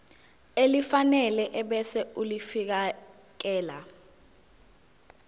elifanele ebese ulifiakela